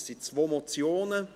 Es sind zwei Motionen.